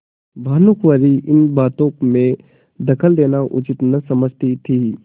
भानुकुँवरि इन बातों में दखल देना उचित न समझती थी